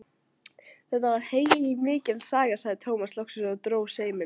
Þetta var heilmikil saga, sagði Tómas loksins og dró seiminn.